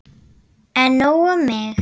En nóg um mig.